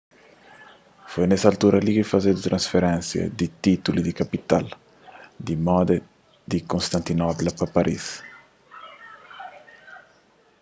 foi nes altura ki fazedu transferénsia di títulu di kapital di moda di konstantinopla pa paris